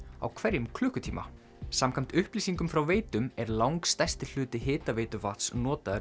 á hverjum klukkutíma samkvæmt upplýsingum frá Veitum er langstærsti hluti hitaveituvatns notaður